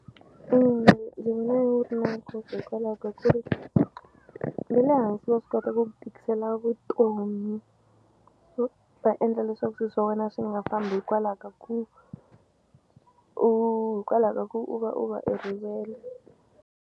Ina ndzi vona wu ri na nkoka hikwalaho ka ku ri ve le hansi va swi kota ku tikisela vutomi swo va endla leswaku swi swa wena swi nga fambi hikwalaha ka ku u hikwalaha ka ku u va u va e rivele.